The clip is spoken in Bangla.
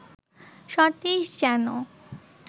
সতীশ যেন